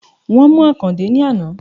Wón mú Àkàndé ní àná